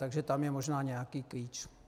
Takže tam je možná nějaký klíč.